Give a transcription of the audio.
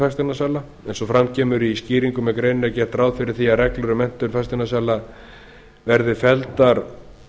fasteignasala eins og fram kemur í skýringum með greininni er gert ráð fyrir því að reglur um menntun fasteignasala verði felldar